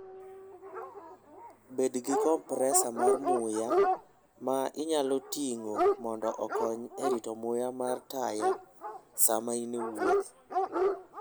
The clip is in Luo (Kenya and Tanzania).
Bed gi kompresor mar muya ma inyalo ting'o mondo okony e rito muya mar taya sama in e wuoth.